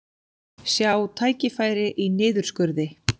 Sjá tækifæri í niðurskurði